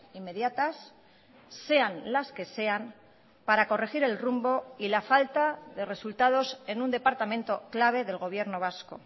inmediatas sean las que sean para corregir el rumbo y la falta de resultados en un departamento clave del gobierno vasco